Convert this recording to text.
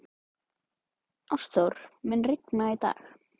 Ástþór, mun rigna í dag?